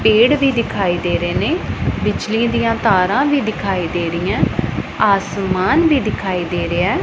ਪੇੜ ਵੀ ਦਿਖਾਈ ਦੇ ਰਹੇ ਨੇ ਬਿਜਲੀਆਂ ਦੀਆਂ ਤਾਰਾਂ ਵੀ ਦਿਖਾਈ ਦੇ ਰਹੀਆਂ ਆਸਮਾਨ ਵੀ ਦਿਖਾਈ ਦੇ ਰਿਹਾ।